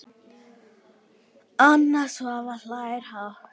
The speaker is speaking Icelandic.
Anna Svava hlær hátt.